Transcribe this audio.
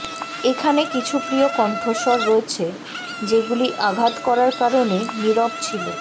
এখানে কিছু প্রিয় কণ্ঠস্বর রয়েছে যেগুলি আঘাত করার কারণে নীরব ছিল